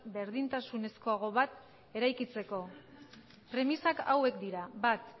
berdintasunezkoago bat eraikitzeko premisak hauek dira bat